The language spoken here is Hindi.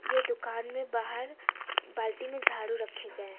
यह दुकान में बाहर बाल्टी में झाड़ू रखे गए हैं।